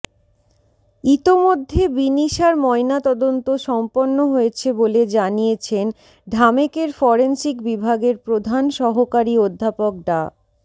ইতোমধ্যে বিনিশার ময়নাতদন্ত সম্পন্ন হয়েছে বলে জানিয়েছেন ঢামেকের ফরেনসিক বিভাগের প্রধান সহকারী অধ্যাপক ডা